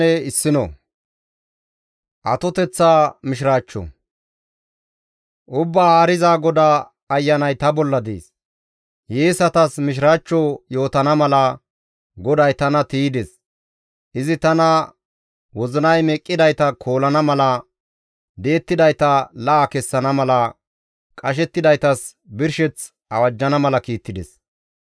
Ubbaa Haariza GODAA Ayanay ta bolla dees; hiyeesatas mishiraachcho yootana mala, GODAY tana tiydes. Izi tana wozinay meqqidayta koolana mala, di7ettidayta la7a kessana mala, qashettidaytas birsheth awajjana mala kiittides.